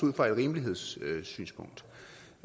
ud fra et rimelighedssynspunkt